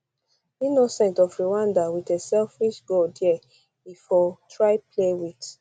um innocent of rwanda wit a selfish ball dia e for um try play wit